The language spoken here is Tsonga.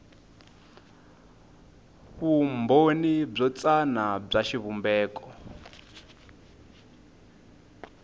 vumbhoni byo tsana bya xivumbeko